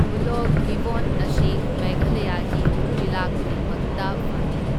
Hoolock ꯒꯤꯕꯣꯟ ꯑꯁꯤ ꯃꯦꯘꯥꯂꯌꯥꯒꯤ ꯖꯤꯂꯥ ꯈꯨꯗꯤꯡꯃꯛꯇ ꯐꯪꯢ꯫